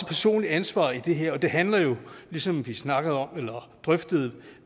personligt ansvar i det her og det handler jo ligesom vi drøftede